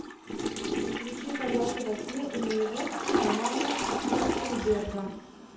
включи полеты во сне и наяву романа трахтенберга